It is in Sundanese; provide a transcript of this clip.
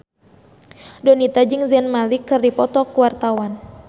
Donita jeung Zayn Malik keur dipoto ku wartawan